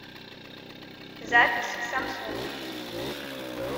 запись самсунг